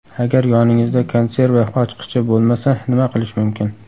Agar yoningizda konserva ochqichi bo‘lmasa, nima qilish mumkin?.